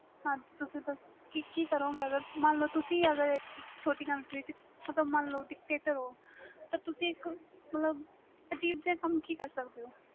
ਹਾਜੀ ਤੁਸੀ ਦਸੋ ਕਿ ਕਰੋ ਗਏ ਮਨ ਲੋ ਤੁਸੀ ਅਗਰ ਛੋਟੀ country ਚ ਮਨ ਲੋ Dictator ਤੁਸੀ ਮਤਬਲ ਕਿ ਕਮ ਕਰ ਸਕਦੇ ਹੋ